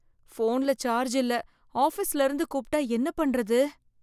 போன்ல சார்ஜ் இல்ல ஆஃபிஸ்ல இருந்து கூப்பிட்டா என்ன பண்றது?